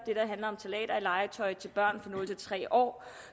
handler om ftalater i legetøj til børn fra nul tre år